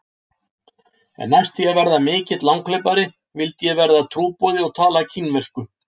En næst því að verða mikill langhlaupari vildi ég verða trúboði og tala kínversku.